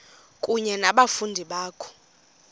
kunye nabafundi bakho